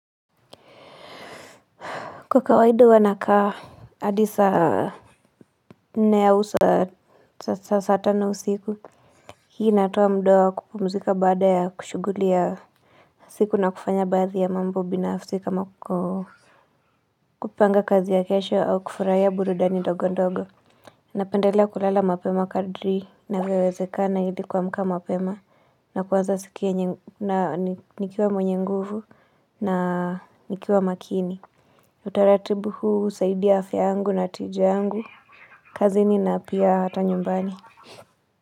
Kwa kawaida huwa nakaa adi saa nne ya usa sasa saa tano usiku. Hii inatoa mdoa kupumzika baada ya kushughulia siku na kufanya baadhi ya mambo binafsi kama ko kupanga kazi ya kesho au kufurahia burudani ndogo ndogo. Napendelea kulala mapema kadri navyowezekana hidi kuamka mapema na kuwaza sikia yenye na ni nikiwa mwenye nguvu na nikiwa makini. Utaratibu huu husaidia afya yangu na tija yangu kazini na pia hata nyumbani.